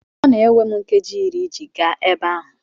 Ọ na-ewe m nkeji iri iji gaa ebe ahụ.